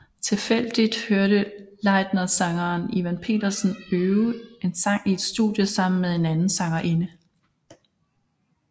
Tilfældigt hørte Leitner sangeren Ivan Pedersen øve en sang i et studie sammen med en anden sangerinde